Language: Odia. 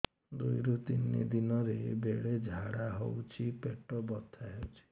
ଦୁଇରୁ ତିନି ଦିନରେ ବେଳେ ଝାଡ଼ା ହେଉଛି ପେଟ ବଥା ହେଉଛି